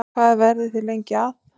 Hvað verðið þið lengi að?